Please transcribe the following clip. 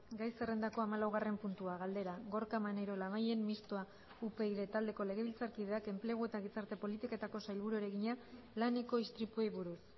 gai zerrendako hamalaugarren puntua galdera gorka maneiro labayen mistoa upyd taldeko legebiltzarkideak enplegu eta gizarte politiketako sailburuari egina laneko istripuei buruz